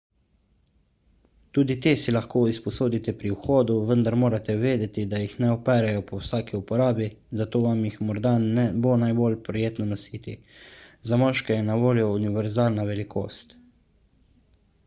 tudi te si lahko izposodite pri vhodu vendar morate vedeti da jih ne operejo po vsaki uporabi zato vam jih morda ne bo najbolj prijetno nositi za moške je na voljo univerzalna velikost